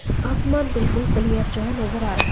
आसमान बिल्कुल क्लियर जो है नजर आ रहा।